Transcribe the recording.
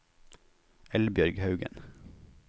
Eldbjørg Haugen